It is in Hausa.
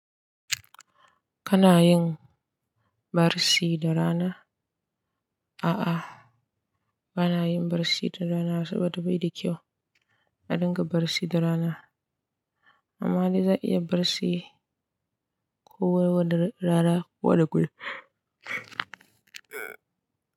Kana yin barci da rana? A'a, ba na yin barci da rana saboda bai da kyau a dinga barci da rana. Amma dai za a iya barci Kana yin barci da rana?